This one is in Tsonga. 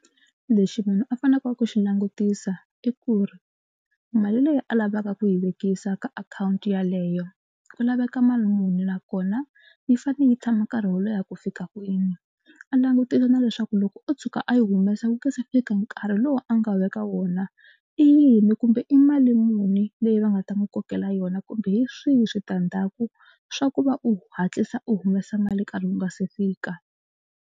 Lexi munhu a faneleke ku xi langutisa i ku ri mali leyi a lavaka ku yi vekisa ka akhawunti yaleyo ku laveka mali muni nakona yi fanele yi tshama nkarhi wo leha ku fika kwini. A langutisa na leswaku loko o tshuka a yi humesa ku nga se fika nkarhi lowu a nga veka wona i yini kumbe i mali muni leyi va nga ta n'wi kokela yona kumbe hi swihi switandzhaku swa ku va u hatlisa u humesa mali nkarhi wu nga se fika.